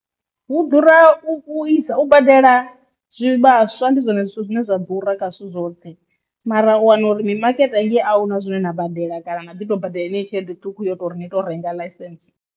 Hu ḓura u vhuisa u badela zwivhaswa ndi zwone zwithu zwine zwa ḓura kha zwithu zwoṱhe, mara u wana uri mimakete hangei ahuna zwine na badela kana na ḓi to badela tshelede ṱhukhu yo tori ni to renga ḽaisentse.